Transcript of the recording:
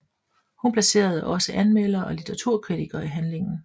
Hun placerede også anmeldere og litteraturkritikere i handlingen